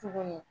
Tuguni